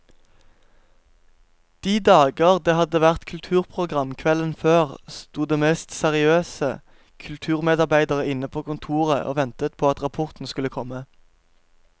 De dager det hadde vært kulturprogram kvelden før, sto de mest seriøse kulturmedarbeidere inne på kontoret og ventet på at rapporten skulle komme.